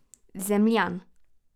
Zemljan.